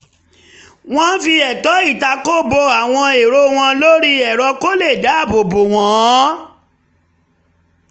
Wọ́n ń fi ẹ̀tọ́ ìtako bo àwọn èro wọn lórí ẹ̀rọ kó lè dáàbò bò wọ́n